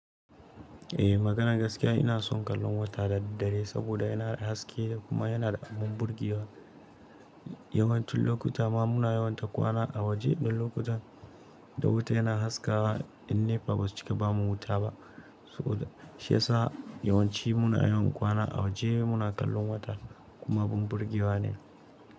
Eh maganan gaskiya ina son kallon wata da daddare saboda yana da haske kuma yana da abun burgewa. Yawancin lokuta ma muna yawaita kwana a waje. Dan lokutan da wata yana haskawa ƴan nepa ba su cika ba mu wuta ba. Saboda shi yasa yawanci muna yawan kwana a waje muna kallon wata kuma abun burgewa ne.